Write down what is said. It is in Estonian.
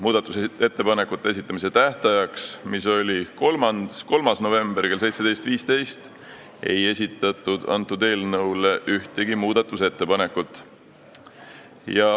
Muudatusettepanekute esitamise tähtajaks, mis oli 3. detsember kell 17.15, ei esitatud ühtegi muudatusettepanekut.